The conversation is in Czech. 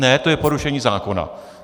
Ne, to je porušení zákona.